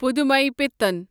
پُدھمےپیٹھن